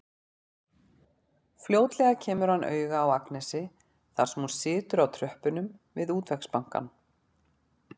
Fljótlega kemur hann auga á Agnesi þar sem hún situr á tröppunum við Útvegsbankann.